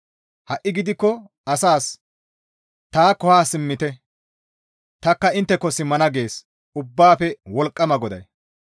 Ha7i gidikko asaas, ‹Taakko haa simmite; tanikka intteko simmana› gees Ubbaafe Wolqqama GODAY.